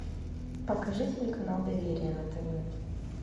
покажи телеканал доверие на тв